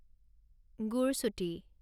গুৰচুটি